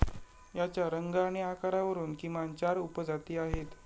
याच्या रंग आणि आकारावरून किमान चार उपजाती आहेत.